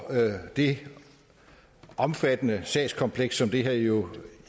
det omfattende sagskompleks som det her jo